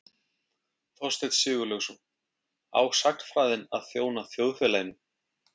Þorsteinn Siglaugsson: Á sagnfræðin að þjóna þjóðfélaginu?